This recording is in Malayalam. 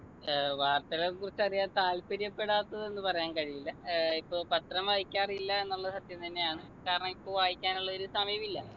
ഏർ വാർത്തകളെക്കുറിച്ചറിയാൻ താല്പര്യപ്പെടാത്തത് എന്ന് പറയാൻ കഴിയില്ല ഏർ ഇപ്പൊ പത്രം വായിക്കാറില്ല എന്നുള്ള സത്യം തന്നെയാണ് കാരണം ഇപ്പൊ വായിക്കാനുള്ളൊരു സമയമില്ല